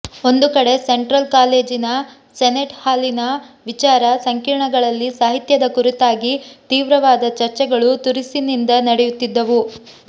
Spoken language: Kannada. ಒಂದು ಕಡೆ ಸೆಂಟ್ರಲ್ ಕಾಲೇಜಿನ ಸೆನೆಟ್ ಹಾಲಿನ ವಿಚಾರ ಸಂಕಿರಣಗಳಲ್ಲಿ ಸಾಹಿತ್ಯದ ಕುರಿತಾಗಿ ತೀವ್ರವಾದ ಚರ್ಚೆಗಳು ತುರುಸಿನಿಂದ ನಡೆಯುತ್ತಿದ್ದವು